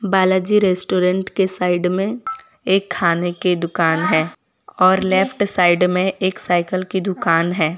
Balaji restaurant के side में एक खाने की दुकान है और लेफ्ट साइड में एक साइकिल की दुकान है।